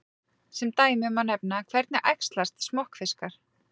Sem dæmi má nefna: Hvernig æxlast smokkfiskar?